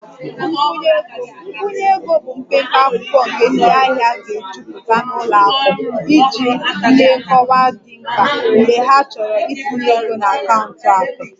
Nkwụnye ego nkwụnye ego bụ mpempe akwụkwọ nke ndị ahịa ga-ejupụta na ụlọ akụ iji nye nkọwa dị mkpa mgbe ha chọrọ itinye ego na akaụntụ akụ